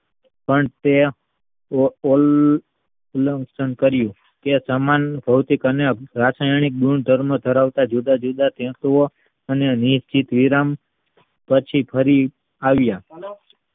પણ તે અલંકાન કર્યું તે સમાન અને ભૌતિક અને રાસાયણિક ધરાવતા જુદા જુદા અને નીતિ વિરાન પછી ફરી આવ્યા